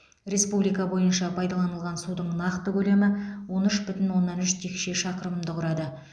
республика бойынша пайдаланылған судың нақты көлемі он үш бүтін оннан үш текше шақырымды құрады